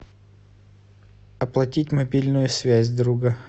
оплатить мобильную связь друга